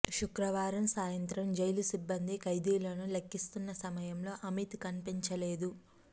శుక్రవారం సాయంత్రం జైలు సిబ్బంది ఖైదీలను లెక్కిస్తున్న సమయంలో అమిత్ కనిపించలేదు